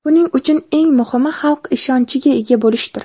Buning uchun eng muhimi xalq ishonchiga ega bo‘lishdir.